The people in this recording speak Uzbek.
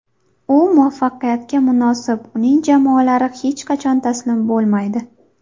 U muvaffaqiyatga munosib, uning jamoalari hech qachon taslim bo‘lmaydi.